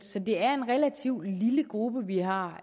så det er en relativt lille gruppe vi har